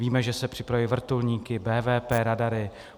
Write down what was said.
Víme, že se připravují vrtulníky, VVP radary.